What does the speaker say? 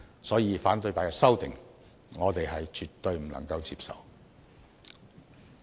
因此，反對派的修訂，我們絕對不能接受。